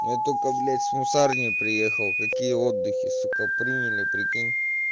я только блять с мусарни приехал какие отдыхи сука приняли прикинь